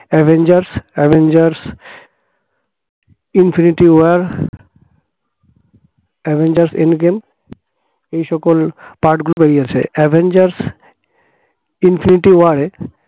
avengers, avengers infinity war avengers end game এ সকল part গুলো বেরিয়েছে। avengers infinity war -এ